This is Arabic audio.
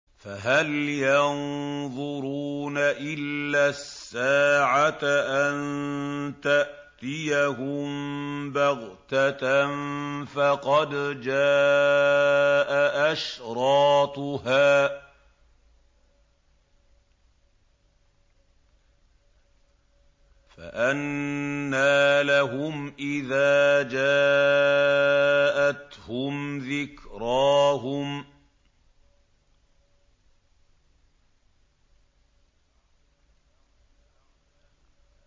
فَهَلْ يَنظُرُونَ إِلَّا السَّاعَةَ أَن تَأْتِيَهُم بَغْتَةً ۖ فَقَدْ جَاءَ أَشْرَاطُهَا ۚ فَأَنَّىٰ لَهُمْ إِذَا جَاءَتْهُمْ ذِكْرَاهُمْ